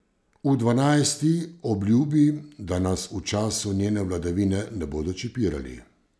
V dvanajsti obljubi, da nas v času njene vladavine ne bodo čipirali.